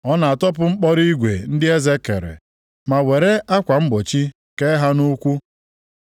Ọ na-atọpụ mkpọrọ igwe ndị eze kere, ma were akwa mgbochi kee ha nʼukwu. + 12:18 Ndị ohu a dọtara nʼagha bụ naanị akwa mgbochi a na-eke nʼukwu ka ha na-eyi.